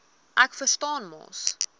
ek verstaan mos